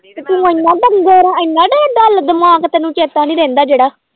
ਤੂੰ ਇੰਨਾ ਡੰਗਰ ਆਂ ਇੰਨਾ ਤੇਰਾ dull ਦਿਮਾਗ ਆ ਤੈਨੂੰ ਚੇਤਾ ਨੀ ਰਹਿੰਦਾ ਜਿਹੜਾ।